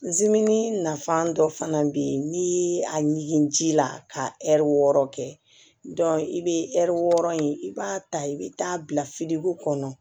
nafa dɔ fana bɛ yen n'i ye a ɲigin ji la ka ɛri wɔɔrɔ kɛ i bɛ ɛri wɔɔrɔ in i b'a ta i bɛ taa bila kɔnɔ